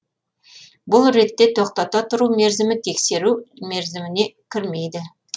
бұл ретте тоқтата тұру мерзімі тексеру мерзіміне кірмейді